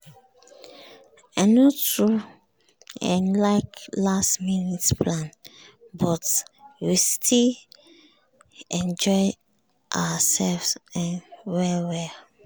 i no too um like last-minute plan but we still enjoy ourselves um well well.